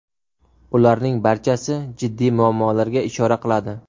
Ularning barchasi jiddiy muammolarga ishora qiladi.